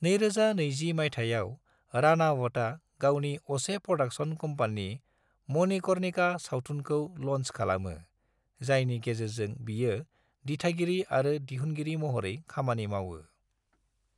2020 मायथाइआव, रानावतआ गावनि असे प्रडाक्शन कम्पानी मणिकर्णिका सावथुनखौ ल'न्च खालामो, जायनि गेजेरजों बियो दिथागिरि आरो दिहुनगिरि महरै खामानि मावो।